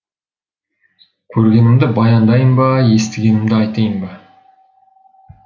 көргенімді баяндайын ба естігенімді айтайын ба